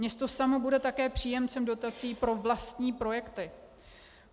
Město samo bude také příjemcem dotací pro vlastní projekty.